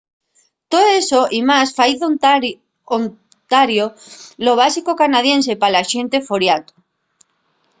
too eso y más fai d'ontario lo básico canadiense pa la xente foriato